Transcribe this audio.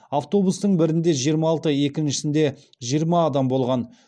автобустың бірінде жиырма алты екіншісінде жиырма адам болған